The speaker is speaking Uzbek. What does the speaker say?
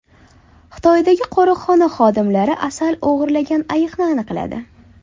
Xitoydagi qo‘riqxona xodimlari asal o‘g‘irlagan ayiqni aniqladi.